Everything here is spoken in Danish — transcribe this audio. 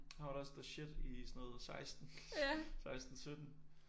Han var da også the shit i sådan noget 16. 16 17